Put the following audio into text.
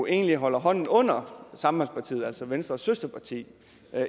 egentlig holder hånden under sambandspartiet altså venstres søsterparti